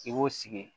I b'o sigi